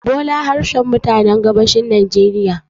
bole harshen mutanen gabashin najeriya